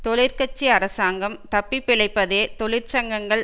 தொழிற்கட்சி அரசாங்கம் தப்பி பிழைப்பதே தொழிற்சங்கங்கள்